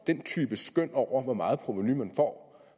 den type skøn over hvor meget provenu man får